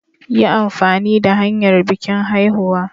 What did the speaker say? Yi amfani da hanyar bikin haihuwa.